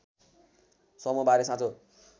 समूह बारे साँचो